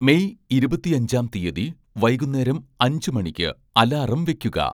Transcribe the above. May ഇരുപത്തിയഞ്ചാം തീയതി വൈകുന്നേരം അഞ്ച് മണിക്ക് അലാറം വെക്കുക